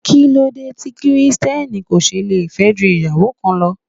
Kíló dé tí Kristẹni kò ṣe le fẹ́ ju ìyàwó kan lọ?